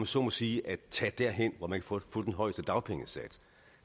så må sige at tage derhen hvor man kan få den højeste dagpengesats